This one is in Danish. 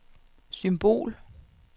symbol